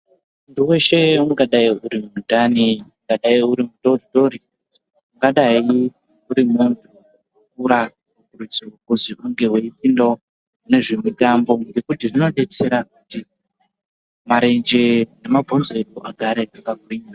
Munthu weshe, ungadai uri mutana, ungadai uri mudoodori, ungadai uri munthu wakura, unosisa kuzi unge weipindawo kune zvemitambo, ngekuti zvinodetsera kuti marenje nemabhonzo edu agare akagwinya.